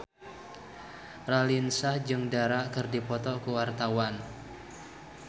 Raline Shah jeung Dara keur dipoto ku wartawan